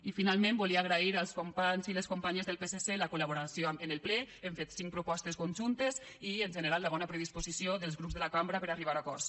i finalment volia agrair als companys i les companyes del psc la col·laboració en el ple hem fet cinc propostes conjuntes i en general la bona predisposició dels grups de la cambra per a arribar a acords